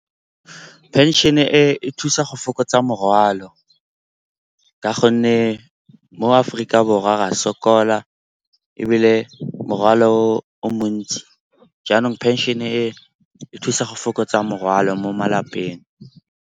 Phenšene e e thusa go fokotsa morwalo ka gonne mo Aforika Borwa ra sokola ebile morwalo o o montsi. Jaanong phenšene e e thusa go fokotsa morwalo mo malapeng.